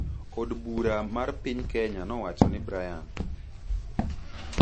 Od bura mar piny Kenya nowacho ni Brian